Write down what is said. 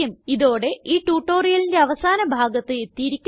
ഇതോടെ ഈ ട്യൂട്ടോറിയലിന്റെ അവസാന ഭാഗത്ത് എത്തിയിരിക്കുന്നു